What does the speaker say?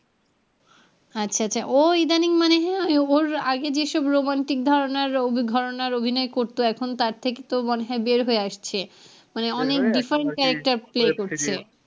আচ্ছা আচ্ছা ও ইদানিং মানে আগের ওর যেসব romantic ধারনার অভি ধারনার অভিনয় করতো এখন তার থেকে তো মনে হয় বের হয়ে আসছে মানে অনেক different character play করছে।